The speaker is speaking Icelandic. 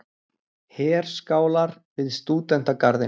Herskálar við Stúdentagarðinn.